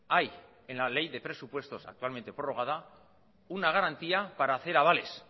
hay en la ley de presupuestos actualmente prorrogada una garantía para hacer avales